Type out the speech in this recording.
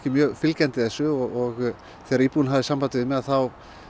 mjög fylgjandi þessu og þegar íbúinn hafði samband við mig þá